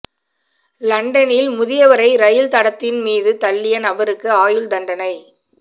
லண்டனில் முதியவரை ரயில் தடத்தின் மீது தள்ளிய நபருக்கு ஆயுள் தண்டனை